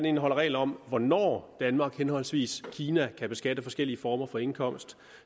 indeholder regler om hvornår danmark henholdsvis kina kan beskatte forskellige former for indkomst